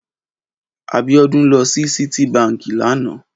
Abiodun lò si Citi bànkí lànã